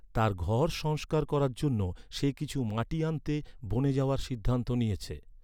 তার ঘর সংস্কার করার জন্য, সে কিছু মাটি আনতে, বনে যাওয়ার সিদ্ধান্ত নিয়েছে।